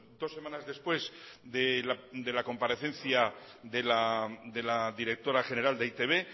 dos semanas después de la comparecencia de la directora general de e i te be